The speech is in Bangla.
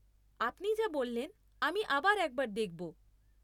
আপনি যা বললেন, আমি আবার একবার দেখব।